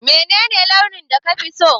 Menene launin da kafi so?